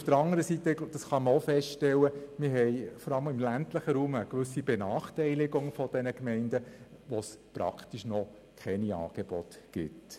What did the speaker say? Auf der anderen Seite kann man auch feststellen, dass wir vor allem im ländlichen Raum auch eine gewisse Benachteiligung von Gemeinden haben, wo es noch praktisch keine Angebote gibt.